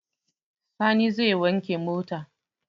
Sani zai wanke mota.